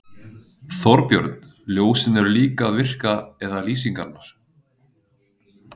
Þorbjörn: Ljósin eru líka að virka eða lýsingarnar?